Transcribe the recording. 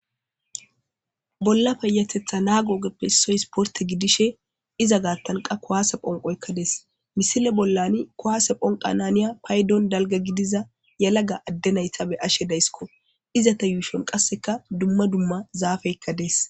Bolla peyatetha naagoogeppe soys porte gidishe iza gaatanqa kowaase phonqoykka des misile bollani kowaase phonqa naniya paydon dalga gidiza yalaga adde nayta be ashe daysiko izata yuushon qasseka dumma dumma zaafeykka dees